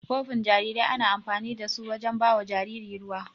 Kofin jariri ana amfanin da su wajen bawa jariri ruwa.